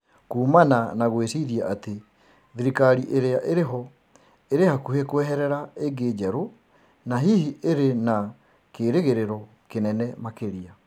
kuumana na gwĩciria atĩ thirikari ĩrĩa ĩrĩho ĩrĩ hakuhĩ kweherera ĩngĩ njerũ na hihi ĩrĩ na kerĩgĩrĩro kĩnene makĩria.